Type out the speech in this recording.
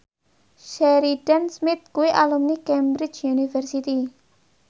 Sheridan Smith kuwi alumni Cambridge University